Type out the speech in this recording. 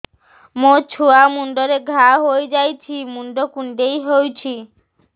ମୋ ଛୁଆ ମୁଣ୍ଡରେ ଘାଆ ହୋଇଯାଇଛି ମୁଣ୍ଡ କୁଣ୍ଡେଇ ହେଉଛି